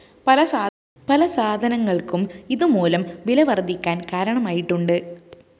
പല സാധനങ്ങള്‍ക്കും ഇതുമൂലം വിലവര്‍ധിക്കാന്‍ കാരണമായിട്ടുണ്ട്